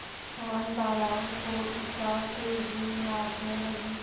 वनबालाएँ फूल उछालती हुई नाचने लगी